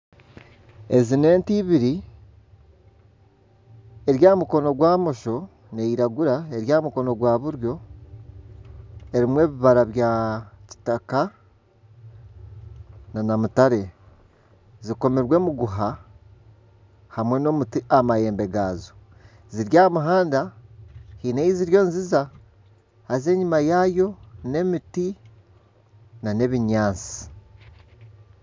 Ezi n'ente ibiri ziri aha mukono gwa bumosho, niziragura eri aha mukono gwa buryo erimu ebibara bya kitaka nana mutare, zikomirwe emiguha hamwe nana omuti aha mahembe gaazo ziri aha muhanda haine ei ziriyo niziza haza enyuma yaayo n'emiti nana ebinyaatsi.